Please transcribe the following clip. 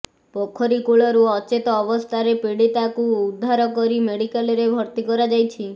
ପୋଖରୀ କୂଳରୁ ଅଚେତ ଅବସ୍ଥାରେ ପିଡ଼ୀତାକୁ ଉଦ୍ଧାର କରି ମେଡ଼ିକାଲରେ ଭର୍ତ୍ତି କରାଯାଇଛି